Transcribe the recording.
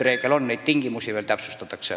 Uue vooru jaoks neid tingimusi veel täpsustatakse.